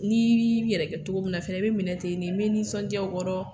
N'i b'i yɛrɛ kɛ cogo min na fɛnɛ, i bɛ minɛ ten ne, me nisɔndiya o kɔrɔ